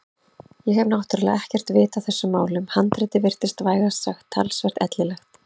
Ég hef náttúrlega ekkert vit á þessum málum en handritið virtist vægast sagt talsvert ellilegt.